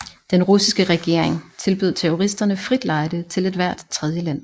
Den russiske regering tilbød terroristerne frit lejde til ethvert tredjeland